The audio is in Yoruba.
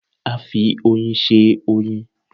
A fi oyin se oyin